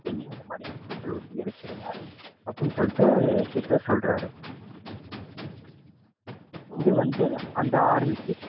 என்னையும், என் மனைவியையும் பெட்ரோல் ஊத்தி எரிச்சுருங்க அப்படின்னு சொல்லிட்டு ஹிட்லர் சொல்றாரு. இதுவந்து அந்த army க்கு